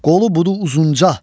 Qolu budu uzunca.